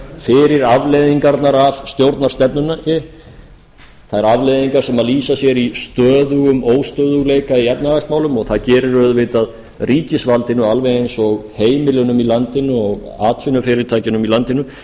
fyrir afleiðingarnar af stjórnarstefnunni þær afleiðingar sem lýsa sér í stöðugum óstöðugleika í efnahagsmálum og að gerir auðvitað ríkisvaldinu alveg eins og heimilunum í landinu og atvinnufyrirtækjunum í landinu